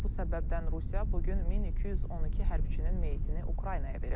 Bu səbəbdən Rusiya bu gün 1212 hərbçinin meyitini Ukraynaya verib.